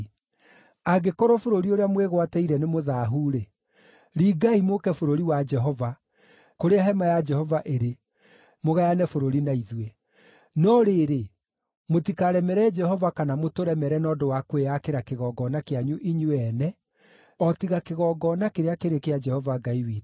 Angĩkorwo bũrũri ũrĩa mwĩgwatĩire nĩmũthaahu-rĩ, ringai mũũke bũrũri wa Jehova, kũrĩa hema ya Jehova ĩrĩ, mũgayane bũrũri na ithuĩ. No rĩrĩ, mũtikaremere Jehova kana mũtũremere na ũndũ wa kwĩyakĩra kĩgongona kĩanyu inyuĩ ene, o tiga kĩgongona kĩrĩa kĩrĩ kĩa Jehova Ngai witũ.